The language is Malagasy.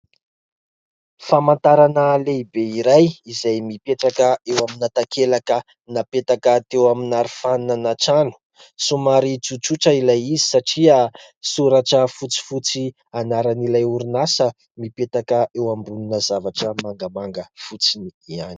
Famantarana lehibe iray izay mipetraka eo amina takelaka napetaka teo amin'ny arofanina na trano somary tsotsotra ilay izy satria soratra fotsifotsy anaran'ilay orinasa, mipetraka eo ambonina zavatra mangamanga fotsiny ihany.